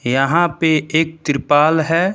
यहां पे एक त्रिपाल है।